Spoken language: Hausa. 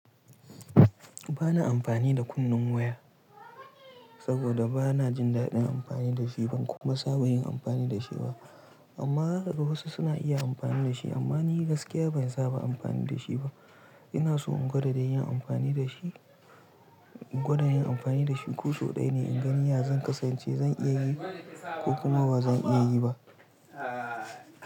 Ba na amfani da kunnen waya saboda ba na jin daɗin amfani da shi ba kuma sa ba yi amfani da shi ba. Amma haka wasu suna iya amfani da shi amma ni gaskiya ban saba amfani da shi ba. Ina so in gwada yin amfani da shi, in gwada yin amfani da shi kuso ɗaya ne in gani ya zan kasance zan iya yi ko kuma ba zan iya yi ba.